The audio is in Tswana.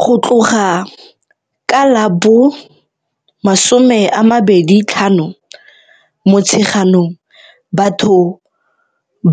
Go tloga ka la bo 25 Motsheganong, batho